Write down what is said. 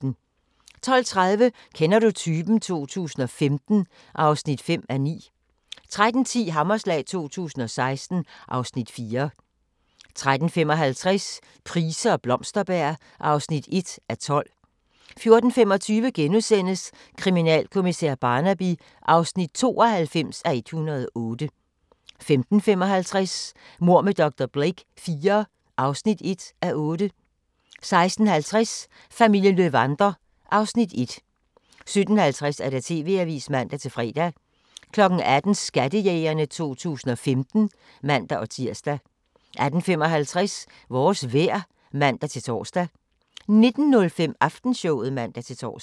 12:30: Kender du typen? 2015 (5:9) 13:10: Hammerslag 2016 (Afs. 4) 13:55: Price og Blomsterberg (1:12) 14:25: Kriminalkommissær Barnaby (92:108)* 15:55: Mord med dr. Blake IV (1:8) 16:50: Familien Löwander (Afs. 1) 17:50: TV-avisen (man-fre) 18:00: Skattejægerne 2015 (man-tir) 18:55: Vores vejr (man-tor) 19:05: Aftenshowet (man-tor)